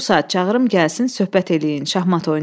Bu saat çağırım gəlsin, söhbət eləyin, şahmat oynayın.